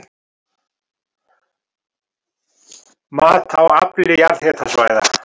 Mat á afli jarðhitasvæða